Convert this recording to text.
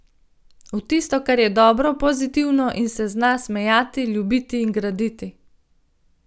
V tisto, kar je dobro, pozitivno in se zna smejati, ljubiti in graditi.